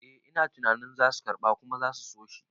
Eh ina tunanin zasu karɓa kuma zasu soshi